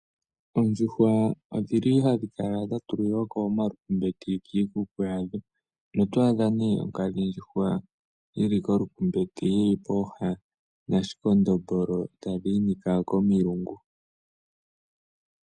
Oondjuhwa odhili hadhi kala dha tulilwako omalumbete kikuku wadho, notwadha ne onkadhi ndjuhwa yili kolumbete yili pooha nashikondombolo tadhinika komilungu.